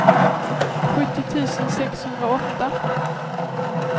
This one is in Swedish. sjuttio tusen sexhundraåtta